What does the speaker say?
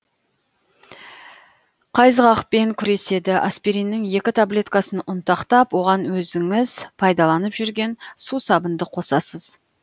қайызғақпен күреседі аспириннің екі таблеткасын ұнтақтап оған өзіңіз пайдаланып жүрген сусабынды қосасыз